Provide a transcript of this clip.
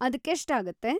ಅದ್ಕೆಷ್ಟಾಗತ್ತೆ?